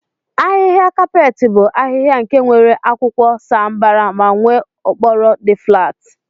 ahiha kapeeti bu ahiha nke nwere akwụkwọ sa mbara ma nwee okporo di flat.